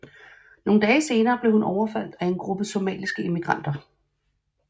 Nogle dage senere blev hun overfaldt af en gruppe somaliske immigranter